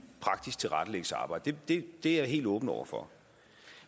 praktisk tilrettelæggelse af arbejdet det er jeg helt åben over for